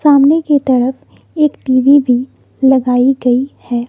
सामने के तरफ एक टी_वी भी लगाई गई है।